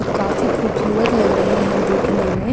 काफी खूबसूरत लग रहे हैं देखने में।